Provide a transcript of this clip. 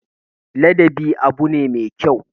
Ladabi abu ne me kyau.